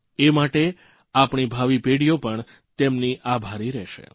એ માટે આપણી ભાવિ પેઢીઓ પણ તેમની આભારી રહેશે